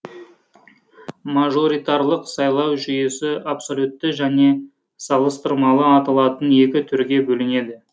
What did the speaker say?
мажоритарлық сайлау жүйесі абсолютті және салыстырмалы аталатын екі түрге бөлінеді